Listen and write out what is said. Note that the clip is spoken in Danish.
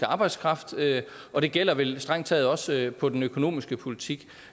arbejdskraft og det gælder vel strengt taget også på den økonomiske politik